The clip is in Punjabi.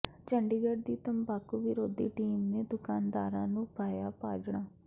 ਚੰਡੀਗੜ੍ਹ ਦੀ ਤੰਬਾਕੂ ਵਿਰੋਧੀ ਟੀਮ ਨੇ ਦੁਕਾਨਦਾਰਾਂ ਨੂੰ ਪਾਈਆਂ ਭਾਜੜਾਂ